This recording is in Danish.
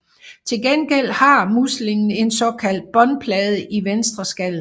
Til gengæld har muslingen en såkaldt båndplade i venstreskallen